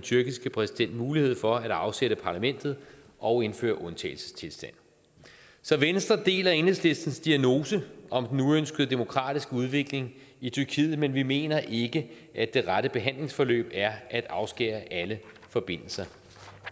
tyrkiske præsident mulighed for at afsætte parlamentet og indføre undtagelsestilstand så venstre deler enhedslistens diagnose om den uønskede demokratiske udvikling i tyrkiet men vi mener ikke at det rette behandlingsforløb er at afskære alle forbindelser